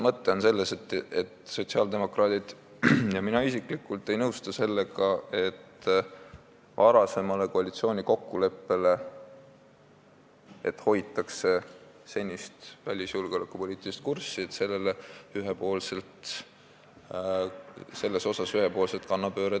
Mõte on selles, et sotsiaaldemokraadid ja mina isiklikult ei nõustu sellega, et varem sõlmitud koalitsioonikokkuleppe puhul, mille järgi hoitakse senist välis- ja julgeolekupoliitilist kurssi, tehakse ühepoolne kannapööre.